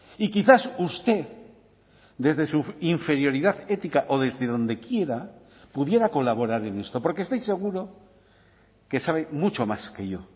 y quizás usted desde su inferioridad ética o desde donde quiera pudiera colaborar en esto porque estoy seguro que sabe mucho más que yo